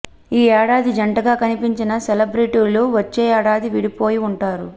ఈ ఏడాది జంటగా కనిపించిన సెలెబ్రిటీలు వచ్చే ఏడాది విడిపోయి ఉంటారు